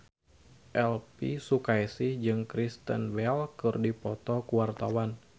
Elvi Sukaesih jeung Kristen Bell keur dipoto ku wartawan